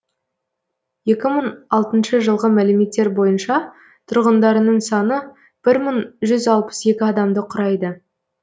екі мың алтыншы жылғы мәліметтер бойынша тұрғындарының саны бір мың жүз алпыс екі адамды құрайды